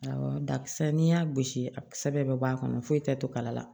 Awɔ dakisɛ n'i y'a gosi a kisɛ bɛɛ bɛ bɔ a kɔnɔ foyi tɛ to kala la